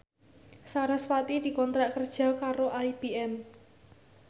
sarasvati dikontrak kerja karo IBM